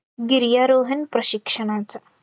गिर्यारोहण प्रशिक्षणाचा